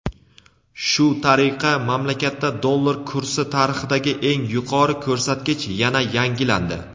Shu tariqa mamlakatda dollar kursi tarixidagi eng yuqori ko‘rsatkich yana yangilandi.